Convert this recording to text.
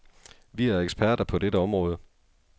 Vi er eksperter på dette område.